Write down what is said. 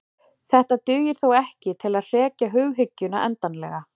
Þetta dugar þó ekki til að hrekja hughyggjuna endanlega.